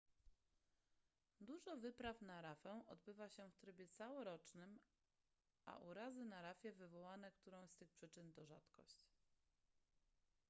dużo wypraw na rafę odbywa się w trybie całorocznym a urazy na rafie wywołane którąś z tych przyczyn to rzadkość